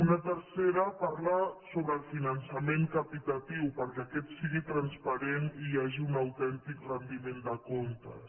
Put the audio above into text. una tercera parla sobre el finançament capitatiu per·què aquest sigui transparent i hi hagi un autèntic ren·diment de comptes